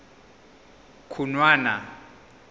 khunwana